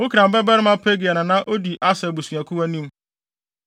Okran babarima Pagiel na na odi Aser abusuakuw anim,